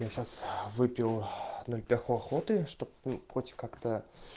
я щас выпил ноль пяху охоты чтоб ну хоть как-то